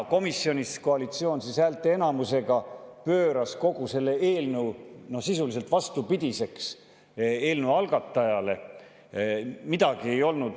Komisjonis koalitsioon häälteenamusega pööras kogu selle eelnõu sisuliselt vastupidiseks eelnõu algataja.